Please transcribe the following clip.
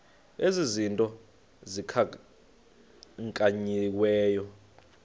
ezi zinto zikhankanyiweyo